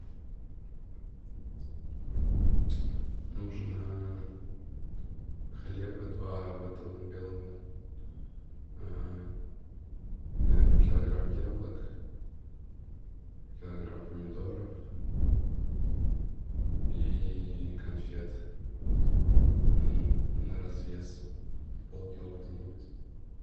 нужно хлеба два батона белого наверное килограмм яблок килограмм помидоров и конфет на развес полкило где нибудь